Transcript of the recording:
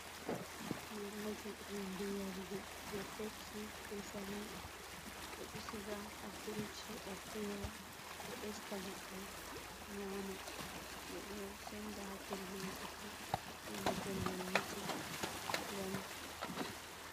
Giraji hunde yarugo je pepsi ɓe 7up ɓe ɗo siga ha frish heɓa fewa, ɗo esta goɗɗo nyama, ɓe ɗo senda ha pellel buki ko ha pellel mittin ngam.